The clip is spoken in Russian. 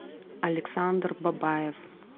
александр бабаев